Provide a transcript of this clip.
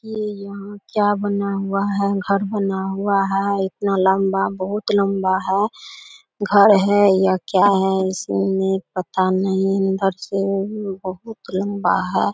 ये यहां क्या बना हुआ है घर बना हुआ है और इतना लंबा बहुत लंबा है घर है या क्या है इसमें पता नहीं अंदर से भी बहुत लम्बा है।